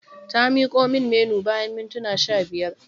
Ta miko min Menu bayan mintuna sha biyar.